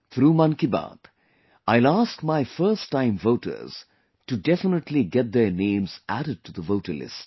Through 'Mann Ki Baat' I will ask my first time voters to definitely get their names added to the voter list